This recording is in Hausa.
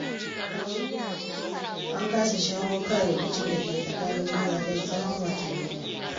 An kasa shawo kan rikicin da ke tsakanin magadan tsawon watannin.